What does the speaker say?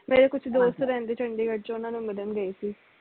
ਮੇਰੇ ਕੁਜ ਦੋਸਤ ਰਹਿੰਦੇ ਚੰਡੀਗੜ੍ਹ ਚ ਓਹਨਾ ਨੂੰ ਮਿਲਣ ਗਈ ਸੀ